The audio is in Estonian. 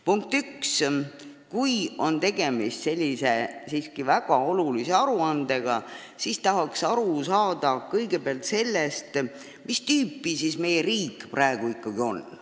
Punkt 1: kui on tegemist niisuguse väga olulise aruandega, siis tahaks aru saada eelkõige sellest, mis tüüpi meie riik praegu ikkagi on.